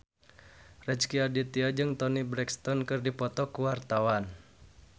Rezky Aditya jeung Toni Brexton keur dipoto ku wartawan